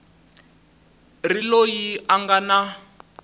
ri loyi a nga na